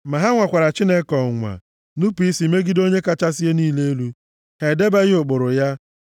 Ma ha nwara Chineke ọnwụnwa, nupu isi megide Onye kachasị ihe niile elu; ha edebeghị ụkpụrụ ya.